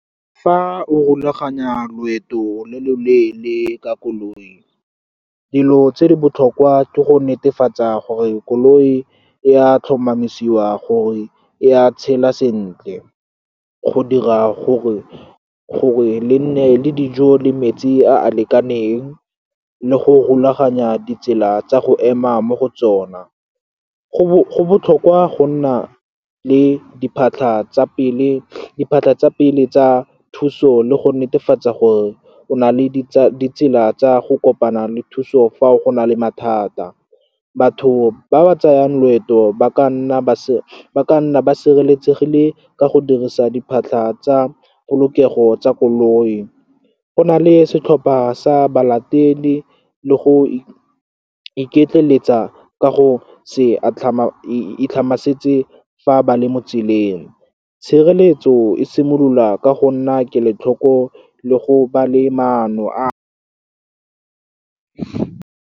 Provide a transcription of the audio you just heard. Fa o rulaganya loeto lo lo leele ka koloi, dilo tse di botlhokwa ke go netefatsa gore koloi e a tlhomamisiwa gore e a tshela sentle, go dira gore le nne le dijo le metsi a a lekaneng, le go rulaganya ditsela tsa go ema mo go tsona. Go botlhokwa go nna le diphatlha tsa pele tsa thuso, le go netefatsa gore o na le ditsela tsa go kopana le thuso fa go na le mathata. Batho ba ba tsayang loeto ba nna ba sireletsegile ka go dirisa diphatlha tsa polokego tsa koloi. Go nale setlhopha sa balatedi, le go iketleletsa ka go itlhama setse fa ba le mo tseleng. Tshireletso e simolola ka go nna kelotlhoko le go ba le maano a.